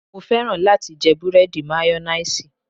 Mo fẹ́ràn láti jẹ búrẹ́dì mayonnaise